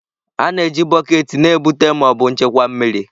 A na-eji bọket na-ebute ma ọ bụ nchekwa mmiri.